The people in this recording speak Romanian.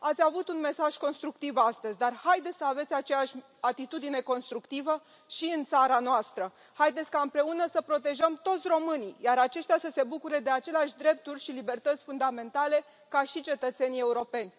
Ați avut un mesaj constructiv astăzi, dar haideți să aveți aceeași atitudine constructivă și în țara noastră. Haideți ca împreună să protejăm toți românii, iar aceștia să se bucure de aceleași drepturi și libertăți fundamentale ca și cetățenii europeni.